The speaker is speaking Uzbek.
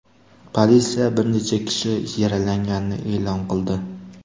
Politsiya bir necha kishi yaralanganini e’lon qildi.